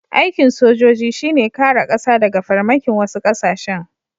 Aikin sojoji shi ne kare ƙasa daga farmakin wasu ƙasashen.